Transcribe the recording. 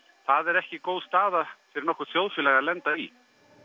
það er ekki góð staða fyrir nokkurt þjóðfélag að lenda í